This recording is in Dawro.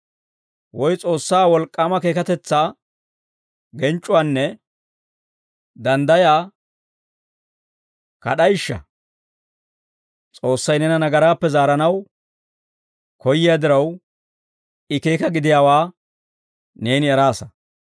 Woy S'oossaa wolk'k'aama keekatetsaa, genc'c'uwaanne danddayaa kad'ayishsha? S'oossay neena nagaraappe zaaranaw koyyiyaa diraw, I keeka gidiyaawaa neeni eraasa.